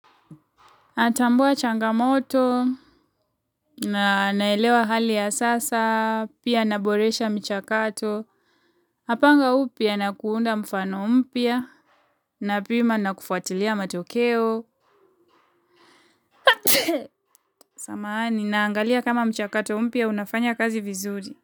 Atambua changamoto, na naelewa hali ya sasa, pia naboresha mchakato, apanga upya na kuunda mfano mpya, napima na kufuatilia matokeo, samahani naangalia kama mchakato mpya unafanya kazi vizuri.